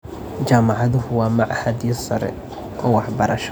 Jaamacaduhu waa machadyo sare oo waxbarasho.